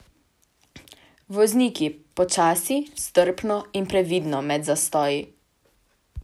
Vozniki, počasi, strpno in previdno med zastoji!